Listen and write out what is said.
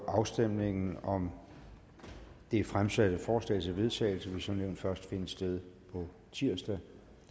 afstemningen om det fremsatte forslag til vedtagelse vil som nævnt først finde sted på tirsdag